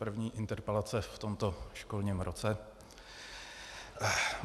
První interpelace v tomto školním roce.